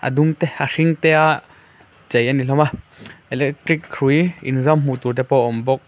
a dung te a hring te a chei a ni hlawma electric hrui inzam hmuh tur te pawh a awm bawk.